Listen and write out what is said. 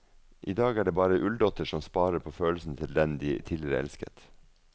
I dag er det bare ulldotter som sparer på følelsene til den de tidligere elsket.